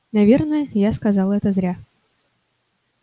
наверное я сказал это зря